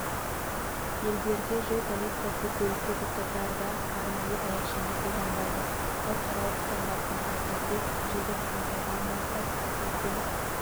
елдерде жол полициясы көлікті тоқтатарда арнайы таяқшаны қолданбайды халықаралық стандарттарға сәйкес жылдың қаңтарынан бастап біздің